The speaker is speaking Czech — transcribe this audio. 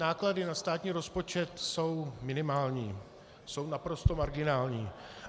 Náklady na státní rozpočet jsou minimální, jsou naprosto marginální.